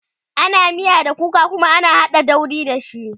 ana miya da kuka Kuma ana haɗa dauri da shi